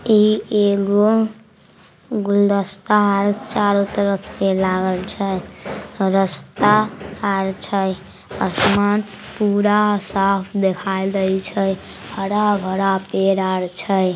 इ एगो गुलदस्ता आर चारों तरफ से लागल छै। रास्ता आर छै। आसमान पूरा साफ दिखाई देय छै। हरा-भरा पेड़ आर छै।